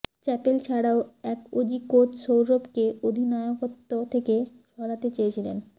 chapel ছাড়াও এক Aussie coach সৌরভকে অধিনায়কত্ব থেকে সরাতে চেয়েছিলেন